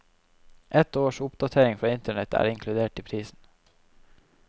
Ett års oppdatering fra internett er inkludert i prisen.